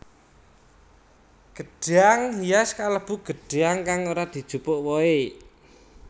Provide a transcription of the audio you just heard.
Gedhang hias kalêbu gêdhang kang ora dijupuk wohe